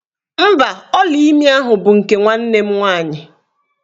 Mba, ọlaimi ahụ bụ nke nwanne m nwaanyị.